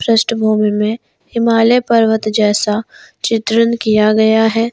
पृष्ठभूमि में हिमालय पर्वत जैसा चित्रण किया गया है।